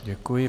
Děkuji.